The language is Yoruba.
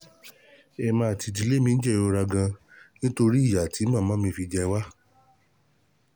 Èmi àti ìdílé mi ń jẹ jẹ ìrora gan-an nítorí ìyà tí màmá mi fi jẹ wá